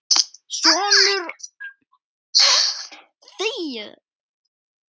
Sonur Adolfs er Viktor Aron.